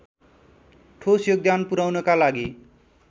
ठोस योगदान पुगाउनका लागि